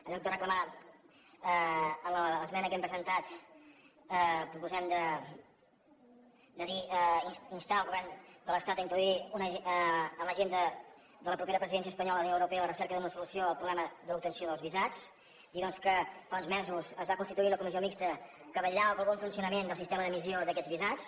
en lloc de reclamar en l’esmena que hem presentat proposem de dir instar el govern de l’estat a introduir en l’agenda de la propera presidència espanyola de la unió europea la recerca d’una solució al problema de l’obtenció dels visats dir doncs que fa uns mesos es va constituir una comissió mixta que vetllava pel bon funcionament del sistema d’emissió d’aquests visats